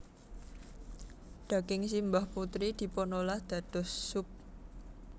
Daging simbah putri dipunolah dados sup